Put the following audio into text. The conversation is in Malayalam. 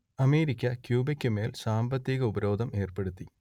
അമേരിക്ക ക്യൂബക്കുമേൽ സാമ്പത്തിക ഉപരോധം ഏർപ്പെടുത്തി